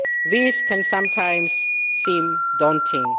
This can sometimes seem daunting.